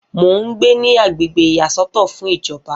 Mo ń gbé ní agbègbè ìyàsọ́tọ̀ fún ìjọba